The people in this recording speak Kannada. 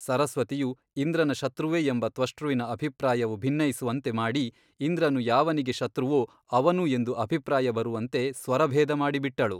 ಸರಸ್ವತಿಯು ಇಂದ್ರನ ಶತ್ರುವೆ ಎಂಬ ತ್ವಷ್ಟೃವಿನ ಅಭಿಪ್ರಾಯವು ಭಿನೈಸುವಂತೆ ಮಾಡಿ ಇಂದ್ರನು ಯಾವನಿಗೆ ಶತ್ರುವೋ ಅವನು ಎಂದು ಅಭಿಪ್ರಾಯ ಬರುವಂತೆ ಸ್ವರಭೇದ ಮಾಡಿಬಿಟ್ಟಳು.